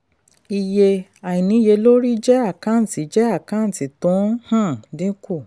iye àìníyẹlori jẹ́ àkáǹtì jẹ́ àkáǹtì tó ń um dín kù.